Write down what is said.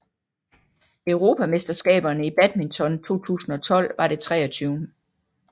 Europamesterskaberne i badminton 2012 var det 23